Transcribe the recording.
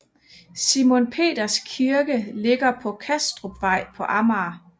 Simon Peters Kirke ligger på Kastrupvej på Amager